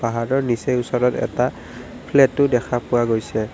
পাহাৰটোৰ নিচেই ওচৰত এটা ফ্লেটো দেখা পোৱা গৈছে।